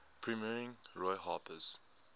premiering roy harper's